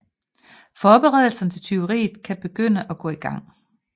Forberedelserne til tyveriet kan begynde at gå i gang